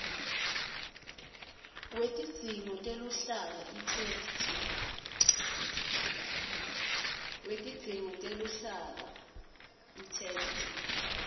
wetidzingo teluhlaka itheksthi